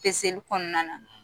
Peseli kɔnɔna na;